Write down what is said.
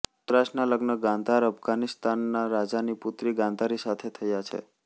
ધૃતરાષ્ટ્રના લગ્ન ગાંધારઅફઘાનિસ્તાનના રાજાની પુત્રી ગાંધારી સાથે થાય છે